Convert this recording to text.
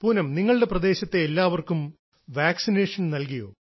പൂനം നിങ്ങളുടെ പ്രദേശത്തെ എല്ലാവർക്കും വാക്സിനേഷൻ നൽകിയോ